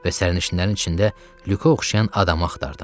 Və sərnişinlərin içində Lükə oxşayan adamı axtardım.